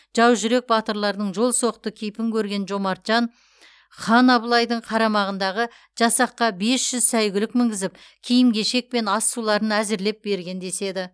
жаужүрек батырлардың жолсоқты кейпін көрген жомарт жан хан абылайдың қарамағындағы жасаққа бес жүз сәйгүлік мінгізіп киім кешек пен ас суларын әзірлеп берген деседі